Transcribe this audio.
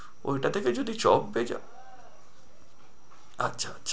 ঐটাতে যদি চাও, এ যা আচ্ছা আচ্ছা।